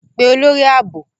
Pe olori aabo!